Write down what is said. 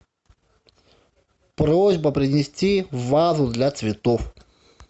просьба принести вазу для цветов